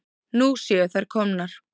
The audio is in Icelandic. Nú séu þær komnar.